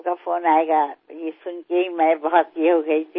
तुमचा फोन येणार हे ऐकल्यावर मला फारच उत्सुकता वाटली